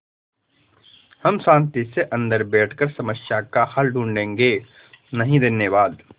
हम शान्ति से अन्दर बैठकर समस्या का हल ढूँढ़े गे नहीं धन्यवाद